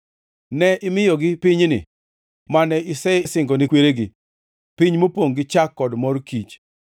Ne imiyogi pinyni mane isesingone kweregi, piny mopongʼ gi chak kod mor kich.